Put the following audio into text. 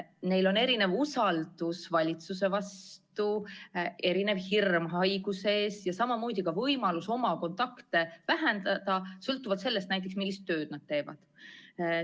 Neil on erinev usaldus valitsuse vastu, erinev hirm haiguse ees ja samamoodi ka erinev võimalus oma kontakte vähendada sõltuvalt sellest, mis tööd nad teevad.